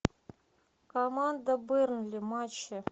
команда бернли матчи